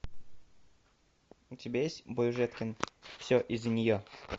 у тебя есть бойжеткен все из за нее